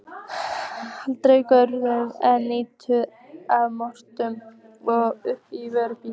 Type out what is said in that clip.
Handan götunnar er ýtan að moka mold upp á vörubíl.